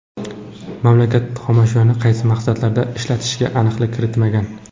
Mamlakat xomashyoni qaysi maqsadlarda ishlatishiga aniqlik kiritilmagan.